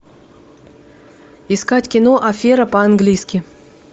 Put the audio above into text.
искать кино афера по английски